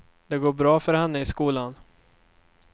Det går bra för henne i skolan.